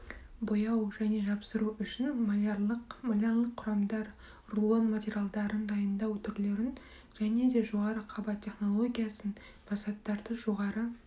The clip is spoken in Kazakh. бояу және жапсыру үшін малярлық малярлық құрамдар рулон материалдарын дайындау түрлерін және де жоғары қабат технологиясын фасадтарды жоғары